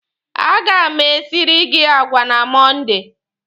A ga m esiri gị àgwà na Mọnde.